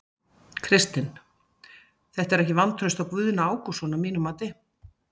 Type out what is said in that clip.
Kristinn: Þetta er ekki vantraust á Guðna Ágústsson að þínu mati?